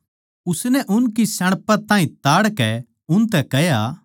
उसनै उनकी श्याणपत ताहीं ताड़कै उनतै कह्या